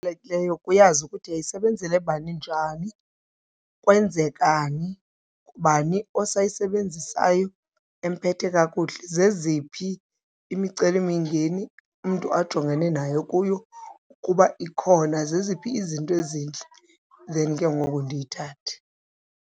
uyazi ukuthi yayisebenzele bani njani, kwenzekani, ngubani osayisebenzisayo emphethe kakuhle, zeziphi imicelimingeni umntu ajongene nayo kuyo ukuba ikhona, zeziphi izinto ezintle, then ke ngoku ndiyithathe.